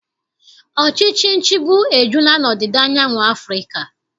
Ọchịchị nchịgbu ejula n'ọdịda anyanwụ Afrịka.